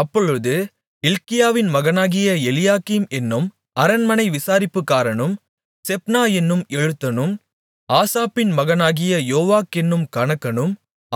அப்பொழுது இல்க்கியாவின் மகனாகிய எலியாக்கீம் என்னும் அரண்மனை விசாரிப்புக்காரனும் செப்னா என்னும் எழுத்தனும் ஆசாப்பின் மகனாகிய யோவாக் என்னும் கணக்கனும்